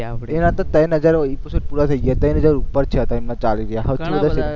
એના તો ત્રણ હજાર એપિસોડ પુરા થઇ ગયા ત્રણ હજાર ઉપર થયા, ત્રણ ને ચાલીસ, ઘણા બધા